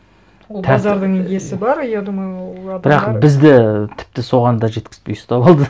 ол базардың иесі бар я думаю ол адамдар бірақ бізді тіпті соған да жеткізбей ұстап алды